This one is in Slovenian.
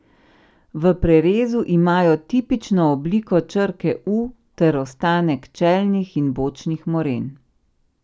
V prerezu imajo tipično obliko črke U ter ostanek čelnih in bočnih moren.